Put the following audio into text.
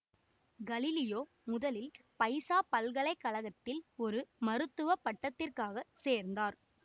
Galileo முதலில் Pisa பல்கலை கழகத்தில் ஒரு மருத்துவ பட்டத்திற்காக சேர்ந்தார்